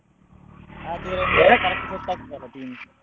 ಹಾಗೆ ಆಗ ಎಲ್ಲ correct set ಆಗ್ತದಲ್ಲ team .